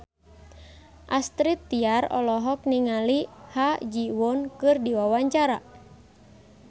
Astrid Tiar olohok ningali Ha Ji Won keur diwawancara